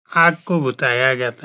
आग को बुताया जाता --